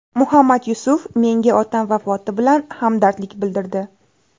Muhammad Yusuf menga otam vafoti bilan hamdardlik bildirdi.